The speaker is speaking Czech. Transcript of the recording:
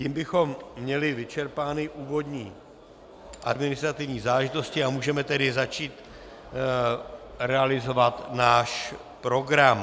Tím bychom měli vyčerpány úvodní administrativní záležitosti a můžeme tedy začít realizovat náš program.